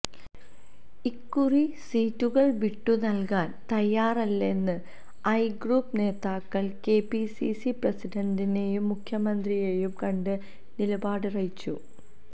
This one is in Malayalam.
ഇക്കുറി സീറ്റുകള് വിട്ടു നല്കാന് തയ്യാറല്ലെന്ന് ഐ ഗ്രൂപ്പ് നേതാക്കള് കെപിസിസി പ്രസിഡന്റിനെയും മുഖ്യമന്ത്രിയെയും കണ്ട് നിലപാടറിയിച്ചു